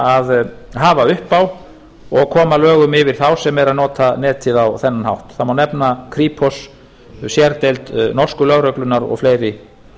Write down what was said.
að hafa upp á og koma lögum yfir þá sem eru að nota netið á þennan hátt það má nefna kripos sérdeild norsku lögreglunnar og fleiri